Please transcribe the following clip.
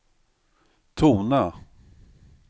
tona